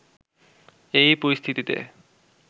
এই পরিস্থিতিতে